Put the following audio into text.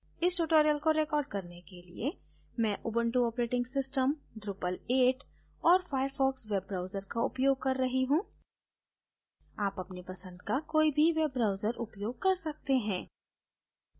इस tutorial को record करने के लिए मैं उबंटु ऑपरेटिंग सिस्टम drupal 8 और firefox वेब ब्राउजर का उपयोग कर रही हूँ आप अपने पंसद का कोई भी वेब ब्राउजर उपयोग कर सकते हैं